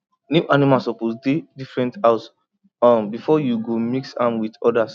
new animal suppose dey different house um before you go mix am with others